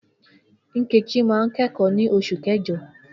Nkechi máa ń kẹ́kọ̀ọ́ ní Oṣù Kẹjọ